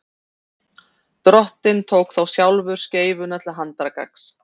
drottinn tók þá sjálfur skeifuna til handargagns